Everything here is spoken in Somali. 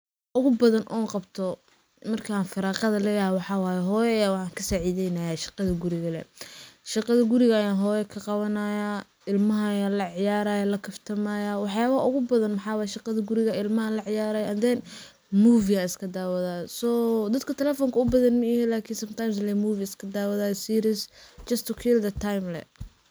Ugu badan oon qabto marka aan firaaqada leyahay waxaa waye ,hooyo ayaan waxaan ka sacideynayaa shaqada guriga lee ,shaqada guriga ayaan hooyo ka qawanayaa ,ilamaha ayaan la ciyarayaa la kaftamayaa, waxyabaha ugu badana waxa waye shaqada ilamaha la ciyarayaa and then movie aan iska dawadaa so dadka telefoonka u badan maihi lakini sometimes lee movie iska dawadaa series ,just to kill the time lee.